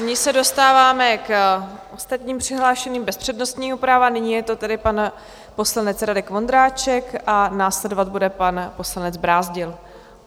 Nyní se dostáváme k ostatním přihlášeným bez přednostního práva, nyní je to tedy pan poslanec Radek Vondráček a následovat bude pan poslanec Brázdil.